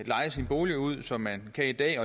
leje sin bolig ud som man kan i dag